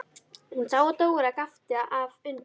Hún sá að Dóra gapti af undrun.